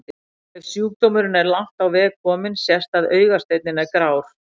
Ef sjúkdómurinn er langt á veg kominn sést að augasteinninn er grár.